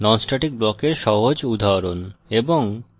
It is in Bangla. non static ব্লকের সহজ উদাহরণ